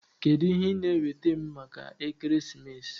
Kedu ihe ị na-enweta m maka ekeresimesi?